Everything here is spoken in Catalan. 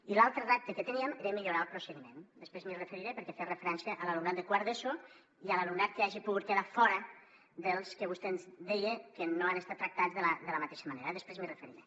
i l’altre repte que teníem era millorar el procediment després m’hi referiré perquè feia referència a l’alumnat de quart d’eso i a l’alumnat que hagi pogut quedar fora dels que vostè deia que no han estat tractats de la mateixa manera eh després m’hi referiré